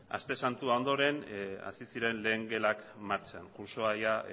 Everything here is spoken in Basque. aste santua ondoren hasi ziren lehen gelak martxan kurtsoa ia